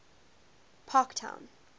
parktown